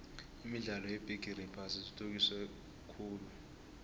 imidlalo yebigixi yephasi ithuthukise khulvumnotho